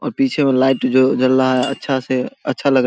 और पीछे में लाइट जो जल रहा है अच्छा से अच्छा लग --